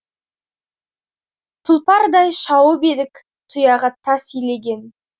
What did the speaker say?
тұлпардай шауып едік тұяғы тас илеген